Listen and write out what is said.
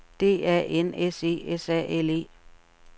D A N S E S A L E